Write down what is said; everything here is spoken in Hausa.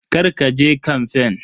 Kar ka je kamfen.